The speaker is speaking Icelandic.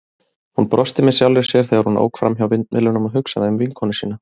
Hún brosti með sjálfri sér, þegar hún ók framhjá vindmyllunum og hugsaði um vinkonu sína.